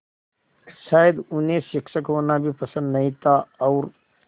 शायद उन्हें शिक्षक होना भी पसंद नहीं था और